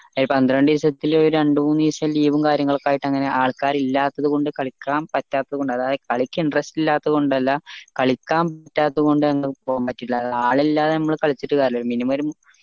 ഈ പത്രണ്ട് ദിവസത്തിൽ ഒരു രണ്ട്മൂന്ന് ദിവസം leave ഉം കാര്യങ്ങളും ഒക്കെ ആയിട്ട് അങ്ങനെ ആള്ക്കാറില്ലാത്തത് കൊണ്ട് കളിക്കാൻ പറ്റാത്തത് കൊണ്ട് അതായത് കളിക്ക് interest ഇല്ലാത്തത് കൊണ്ടല്ല കളിക്കാനില്ലാത്തത് കൊണ്ട് അത് ആൾ ഇല്ലാണ്ട് നമ്മൾ കളിച്ചട്ട് കാര്യമില്ലലോ minimum ഒരു മൂ